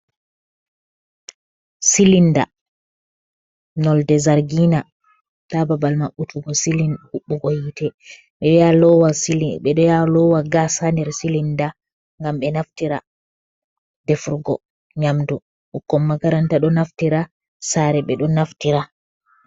Silinda nolde zargina, ta babal maɓɓutugo silinda hubugo hite, ɓeɗo yaa lowa gas nder silinda ngam ɓe naftira defrgo nyamdu, ɓukkon makaranta ɗo naftira saare ɓe ɗo naftira.